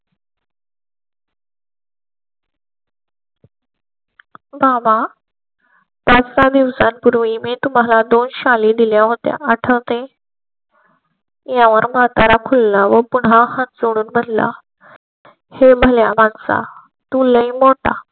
व्हावा पाच सहा दिवसांपूर्वी मी तुम्हाला दोन शाली दिल्या होत्या आठवते. यावर म्हातारा खुला पुन्हा हात जोडून म्हणला हे भल्या माणसा तू लै मोठा.